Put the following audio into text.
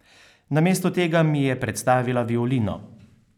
Namesto tega mi je predstavila violino.